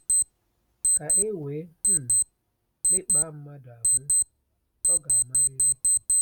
Ka e wee um mekpaa mmadụ ahụ́, ọ ga-amarịrị.